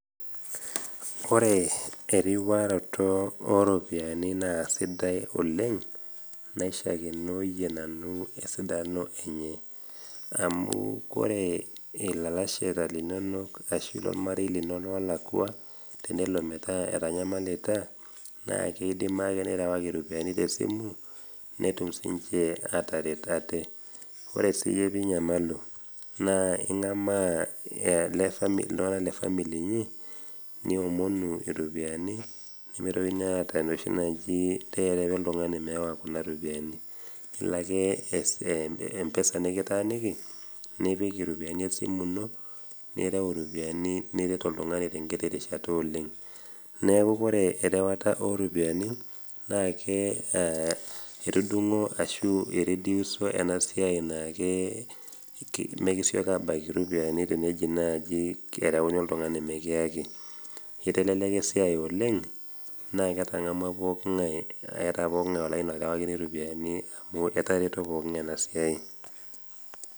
Ore eriwaroto oropiyiani na sidai oleng naishakenoi nanu esidano enye amu ore ilalashera linonok ashu ormarei lino enelakwa na kidimai ake nirewaki ropiyani tesimu ninamalu na ingamaa ltunganak le family inyi niomonu iropiyiani ilobake empesa nikitaaniki nipik ropiyani esimu ino nirew iropiyiani nirwt oltungani tenkiti rishata oleng neau ore erewata oropiyiani etudungo enasiai nekisieki abaki ropiyani teneji nai kereuni oltungani mekiyaki iteleka esiai oleng na kitangamua pooki ngae keeta poki ngae olaini orewakini ropiyani etareto pooki ngae enasiai.